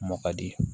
Mɔ ka di